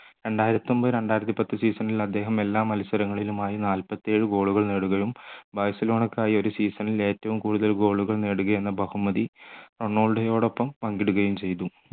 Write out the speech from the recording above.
രണ്ടായിരത്തി ഒമ്പത് രണ്ടായിരത്തിപത്ത് season ൽ അദ്ദേഹം എല്ലാ മത്സരങ്ങളിലും ആയി നാല്പത്തിയേഴു goal കൾ നേടുകയും ബാഴ്സലോണക്കായി ഒരു season ൽ ഏറ്റവും കൂടുതൽ goal കൾ നേടുക എന്ന ബഹുമതി റൊണാൾഡോയോടൊപ്പം പങ്കിടുകയും ചെയ്തു